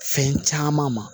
Fɛn caman ma